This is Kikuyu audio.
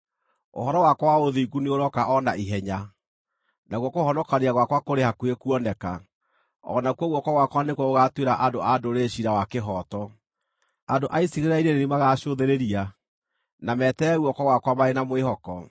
Ũhoro wakwa wa ũthingu nĩũrooka o na ihenya, nakuo kũhonokania gwakwa kũrĩ hakuhĩ kuoneka, o nakuo guoko gwakwa nĩkuo gũgaatuĩra andũ a ndũrĩrĩ ciira wa kĩhooto. Andũ a icigĩrĩra-inĩ nĩ niĩ magaacũthĩrĩria na meterere guoko gwakwa marĩ na mwĩhoko.